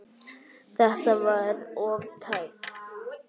Þetta var of tæpt.